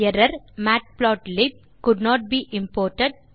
ERROR matplotlib could not be imported